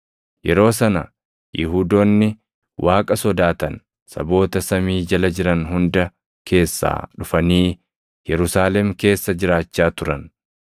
Yeroo sana Yihuudoonni Waaqa sodaatan saboota samii jala jiran hunda keessaa dhufanii Yerusaalem keessa jiraachaa turan.